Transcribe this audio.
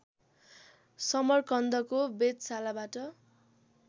समरकन्दको वेधशालाबाट